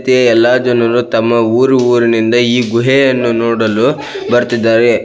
ಎಲ್ಲಾ ಜನರು ತಮ್ಮ ಊರು ಊರಿನಿಂದ ಈ ಗುಹೆಯನ್ನು ನೋಡಲು ಬರ್ತ್ತಿದ್ದಾರೆ.